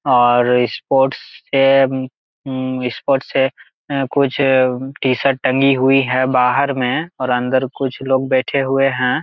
और स्पोर्ट्स है स्पोर्ट्स है कुछ टी शर्ट टंगी हुई है बहार में और अंदर कुछ लोग बैठे हुए हैं ।